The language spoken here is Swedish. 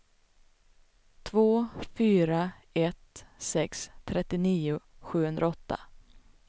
två fyra ett sex trettionio sjuhundraåtta